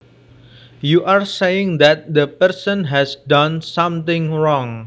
you are saying that the person has done something wrong